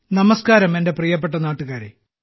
നമസ്ക്കാരം എന്റെ പ്രിയപ്പെട്ട നാട്ടുകാരേ